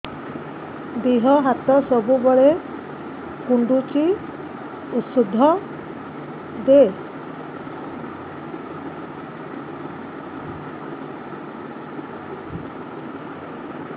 ଦିହ ହାତ ସବୁବେଳେ କୁଣ୍ଡୁଚି ଉଷ୍ଧ ଦେ